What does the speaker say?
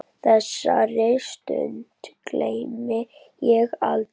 Þessari stund gleymi ég aldrei.